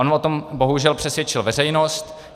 On o tom bohužel přesvědčil veřejnost.